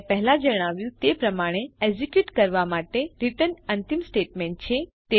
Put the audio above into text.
મેં પહેલાં જણાવ્યું તે પ્રમાણે એકઝીકયુટ કરવા માટે રિટર્ન અંતિમ સ્ટેટમેન્ટ છે